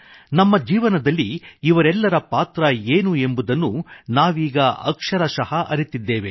ನಮ್ಮ ಜೀವನದಲ್ಲಿ ಇವರೆಲ್ಲರ ಪಾತ್ರ ಏನು ಎಂಬುದನ್ನು ನಾವೀಗ ಅಕ್ಷರಶಃ ಅರಿತಿದ್ದೇವೆ